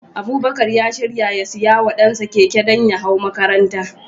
Abubakar ya shirya ya siya wa dansa keke, don ya hau makaranta.